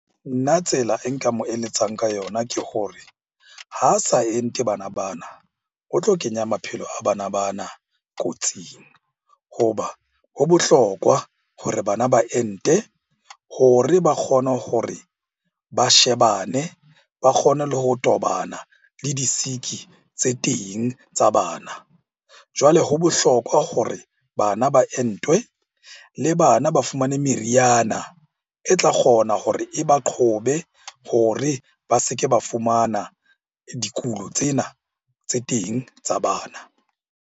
Nna tsela e nka mo eletsang ka yona ke hore ha sa ente bana bana, o tlo kenya maphelo a bana bana kotsing. Hoba ho bohlokwa hore bana ba ente hore ba kgone hore ba shebane, ba kgone le ho tobana le di-sick-i tse teng tsa bana. Jwale ho bohlokwa hore bana ba entwe le bana ba fumane meriana e tla kgona hore e ba qhobe hore ba se ke ba fumana dikulo tsena tse teng tsa bana.